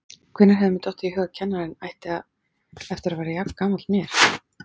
Hvenær hefði mér dottið í hug að kennarinn ætti eftir að vera jafngamall mér!